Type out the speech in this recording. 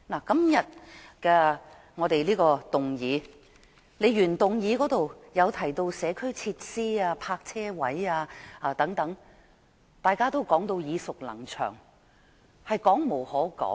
今天的原議案提到社區設施、泊車位等，這些問題大家都耳熟能詳，已說無可說。